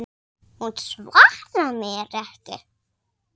Hún svaraði mér ekki.